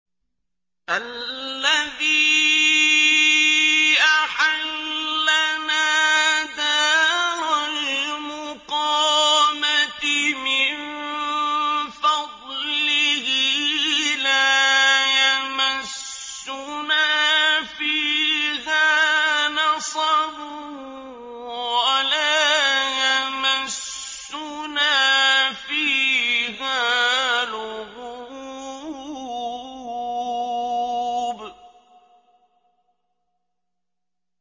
الَّذِي أَحَلَّنَا دَارَ الْمُقَامَةِ مِن فَضْلِهِ لَا يَمَسُّنَا فِيهَا نَصَبٌ وَلَا يَمَسُّنَا فِيهَا لُغُوبٌ